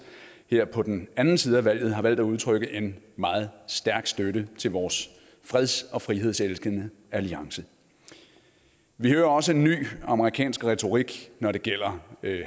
her på den anden side af valget har valgt at udtrykke en meget stærk støtte til vores freds og frihedselskende alliance vi hører også en ny amerikansk retorik når det gælder